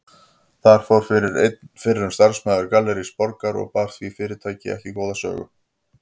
Þar fór fyrir einn fyrrum starfsmaður Gallerís Borgar og bar því fyrirtæki ekki góða sögu.